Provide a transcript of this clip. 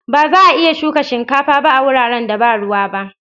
Ba za'a iya shuka shinkafa ba a wuraren da ba ruwa ba.